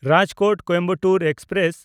Rajkot-Coimbatore express